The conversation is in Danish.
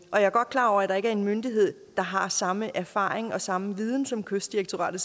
er godt klar over at der ikke er en myndighed der har samme erfaring og samme viden som kystdirektoratet